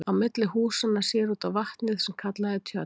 Á milli húsanna sér út á vatnið sem kallað er tjörn.